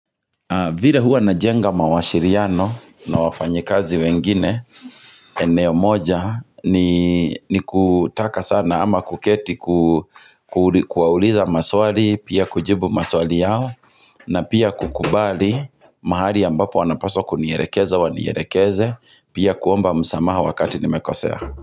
Vile hua najenga mawasiliano na wafanya kazi wengine, eneo moja ni ni kutaka sana ama kuketi kuauliza maswali, pia kujibu maswali yao, na pia kukubali mahali ambapo wanapaswa kunielekeza wanielekeze, pia kuomba msamaha wakati nimekosia.